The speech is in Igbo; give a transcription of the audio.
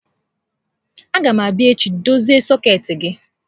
A gá m abịa echi idozi sọkeetị gị